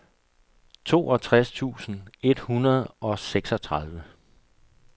toogtres tusind et hundrede og seksogtredive